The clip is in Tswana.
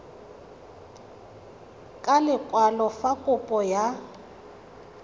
ka lekwalo fa kopo ya